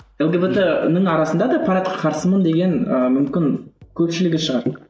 лгбт ның арасында да парадқа қарсымын деген ііі мүмкін көпшілігі шығар